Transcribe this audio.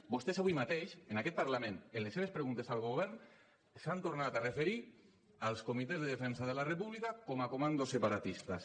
vostès avui mateix en aquest parlament en les seves preguntes al govern s’han tornat a referir als comitès de defensa de la república com a comandos separatistes